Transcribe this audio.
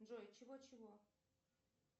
джой чего чего